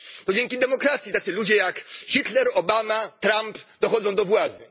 To dzięki demokracji tacy ludzie jak Hitler, Obama, Trump dochodzą do władzy.